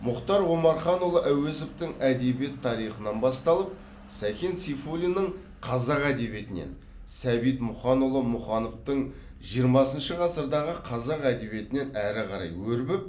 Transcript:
мұхтар омарханұлы әуезовтің әдебиет тарихынан басталып сәкен сейфуллиннің қазақ әдебиетінен сәбит мұқанұлы мұқановтың жиырмасыншы ғасырдағы қазақ әдебиетінен әрі қарай өрбіп